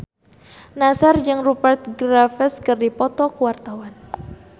Nassar jeung Rupert Graves keur dipoto ku wartawan